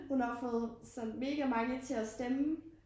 Hun har fået sådan mega mange til at stemme